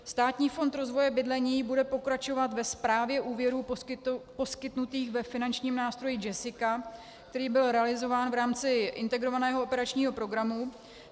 Státní fond rozvoje bydlení bude pokračovat ve správě úvěrů poskytnutých ve finančním nástroji JESSICA, který byl realizován v rámci Integrovaného operačního programu.